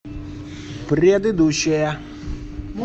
предыдущая